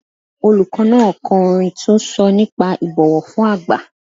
Olùkọ́ náà ko orin tó sọ nípa ìbọ̀wọ̀ fún àgbà.